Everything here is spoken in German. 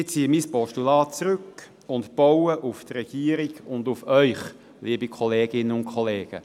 Ich ziehe mein Postulat zurück und baue auf die Regierung und auf Sie, liebe Kolleginnen und Kollegen.